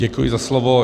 Děkuji za slovo.